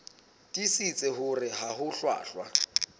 tiisitse hore ha ho hlwahlwa